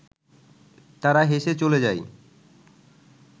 তারা হেসে চলে যায়